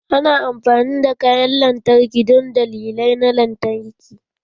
Ana amfani da kayan lantarki don dalilai na lantarki.